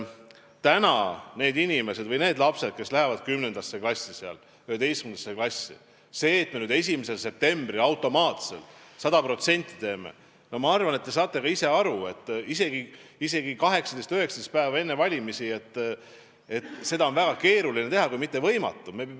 Ma veel kord ütlen, et lapsed lähevad seal 10. klassi, 11. klassi, ja see, et me 1. septembril automaatselt seal sada protsenti eestikeelse õppe teeksime – ma arvan, te saate ka ise aru, isegi 18–19 päeva enne valimisi –, oleks väga keeruline kui mitte võimatu.